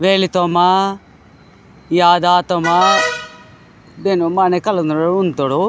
वेली तोमा यादा तोमा बेनो माने कालिंद उनो तोडू।